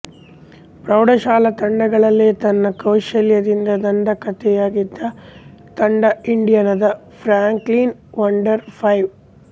ಪ್ರೌಢ ಶಾಲಾ ತಂಡಗಳಲ್ಲೇ ತನ್ನ ಕೌಶಲ್ಯದಿಂದ ದಂತಕತೆಯಾಗಿದ್ದ ತಂಡ ಇಂಡಿಯಾನದ ಫ್ರಾಂಕ್ಲಿನ್ ವಂಡರ್ ಫೈವ್